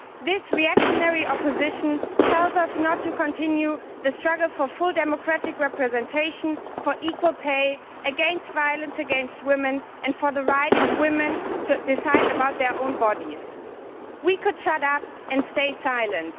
This reactionary opposition tells us not to continue the struggle for full democratic representation, for equal pay, against violence against women and for the right of women to decide about their own bodies. We could shut up and stay silent